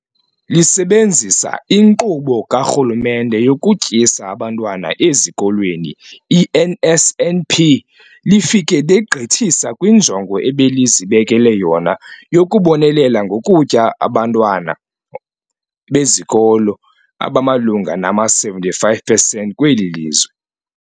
Lisebenzisa iNkqubo kaRhulumente yokuTyisa Abantwana Ezikolweni, i-NSNP, lifike legqithisa kwinjongo ebelizibekele yona yokubonelela ngokutya abantwana besikolo abamalunga nama-75 percent kweli lizwe.